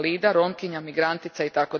invalida, Romkinja, migrantica itd.